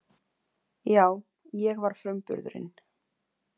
Já, ég var frumburðurinn.